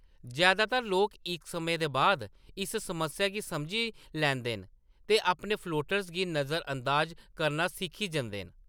जैदातर लोक इक समें दे बाद इस समस्या गी समझी लैंदे न ते अपने फ्लोटर्स गी नजरअंदाज करना सिक्खी जंदे न।